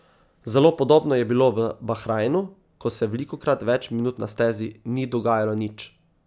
Zelo podobno je bilo v soboto v Bahrajnu, ko se velikokrat več minut na stezi ni dogajalo nič.